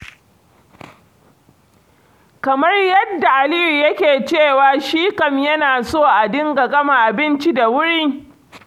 Kamar yadda Aliyu yake cewa shi kam yana so a dinga gama abinci da wuri.